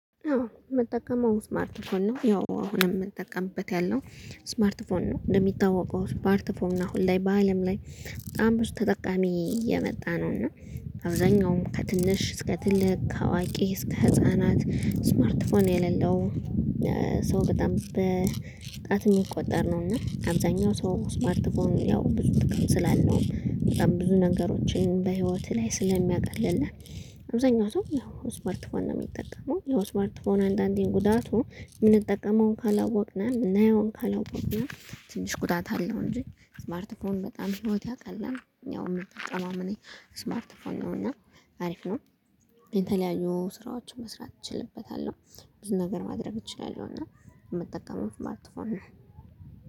አወ የምጠቀመው ስማርት ፎን ነው ያው አሁን የምንጠቀምበት ያለው ስማርት ፎን ነው እንደሚታወቀው ስማርት ፎን ነው አሁን ላይ በአለም ላይ በጣም ብዙ ተጠቃሚ የመጣ ነው እና አብዛኛውም ከትንሽ እስከ ትልቅ አዋቂ እስከ ህፃናት ስማርትፎን የሌለው ሰው በጣም በጣት የሚቆጠር ነው። እና አብዛኛው ሰው ስማርትፎን ያው ብዙ ጥቅም ስላለውም በጣም ብዙ ነገሮችን በህይወትህ ላይ ስለሚያቀልልህ። አብዛኛው ሰው ያው ስማርትፎን ነው የሚጠቀመው። ያው ስማርትፎን አንዳንዴ ጉዳቱ የምንጠቀመውን ካላወቅነ የምናየውን ካላወቅነ ትንሽ ጉዳት አለው። እንጂ ስማርት ፎን በጣም ህይት ያቀላል። ያው የምጠቀመውም እኔ ስማርት ፎን ነው እና አሪፍ ነው። የተለያዩ ስራዎችን መስራት እችልበታለሁ ብዙ ነገር ማድረግ እችላለሁና የምጠቀመው ስማርትፎን ነው።